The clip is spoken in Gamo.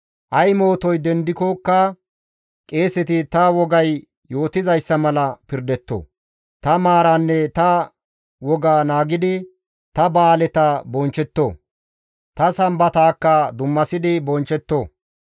Ay mootoy dendikkoka qeeseti ta wogay yootizayssa mala pirdetto. Ta maaraanne ta woga naagidi, ta ba7aaleta bonchchetto; ta Sambataakka dummasidi bonchchetto.